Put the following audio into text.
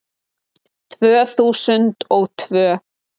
Tvö þúsund og tvö